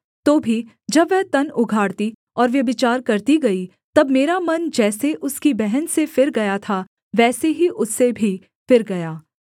तो भी जब वह तन उघाड़ती और व्यभिचार करती गई तब मेरा मन जैसे उसकी बहन से फिर गया था वैसे ही उससे भी फिर गया